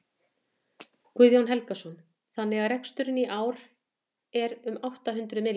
Guðjón Helgason: Þannig að reksturinn í ár er um átta hundruð milljónir?